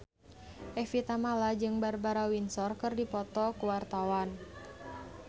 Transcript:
Evie Tamala jeung Barbara Windsor keur dipoto ku wartawan